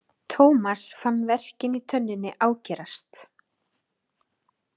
Thomas fann verkinn í tönninni ágerast.